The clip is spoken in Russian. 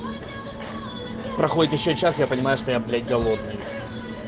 проходит ещё час я понимаю что я блять голодный